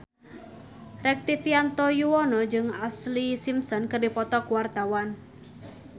Rektivianto Yoewono jeung Ashlee Simpson keur dipoto ku wartawan